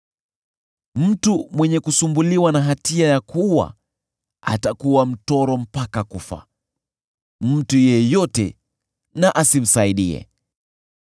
Mtu mwenye kusumbuliwa na hatia ya kuua atakuwa mtoro mpaka kufa; mtu yeyote na asimsaidie.